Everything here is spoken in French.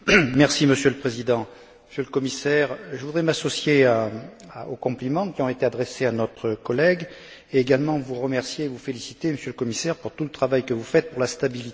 Monsieur le Président, Monsieur le Commissaire, je voudrais m'associer aux compliments qui ont été adressés à notre collègue et également vous remercier, vous féliciter, Monsieur le Commissaire, pour tout le travail que vous faites pour la stabilité.